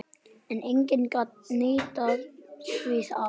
En enginn gat neitað því að